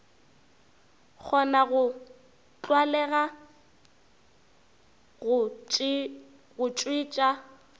kgona go tlwalega go tšwetša